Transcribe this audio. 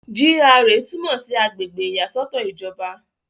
GRA túmọ̀ sí àgbègbè ìyàsọ́tọ̀ ìjọba.